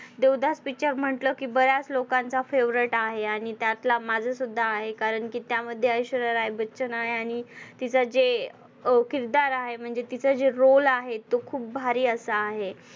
Devdas picture म्हटलं कि बऱ्याच लोकांचा favorite आहे आणि त्यातला माझा सुद्धा आहे कारण कि त्यामध्ये ऐश्वर्या राय बच्चन आहे आणि तिचा जे अह किरदार आहे म्हणजे तिचा जे roll आहे तो खूप भारी असा आहे.